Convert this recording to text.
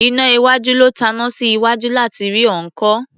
Iná iwájú ló taná sí iwájú láti rí ọ̀ọ́kán.